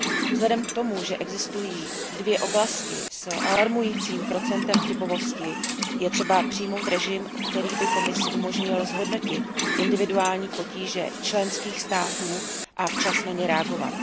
Vzhledem k tomu, že existují dvě oblasti s alarmujícím procentem chybovosti, je třeba přijmout režim, který by Komisi umožnil zhodnotit individuální potíže členských států a včas na ně reagovat.